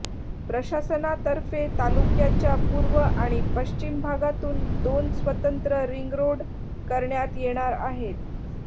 प्रशासनातर्फे तालुक्याच्या पूर्व आणि पश्चिम भागातून दोन स्वतंत्र रिंगरोड करण्यात येणार आहेत